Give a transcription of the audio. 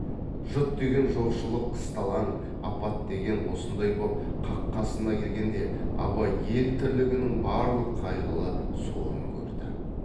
жұт деген жоқшылық қысталаң апат деген осындай боп қақ қасына келгенде абай ел тірлігінің барлық қайғылы сорын көрді